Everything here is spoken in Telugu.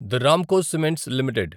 తే రామ్కో సిమెంట్స్ లిమిటెడ్